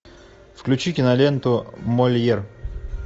включи киноленту мольер